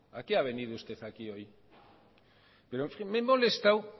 a qué ha venido usted aquí hoy pero en fin me he molestado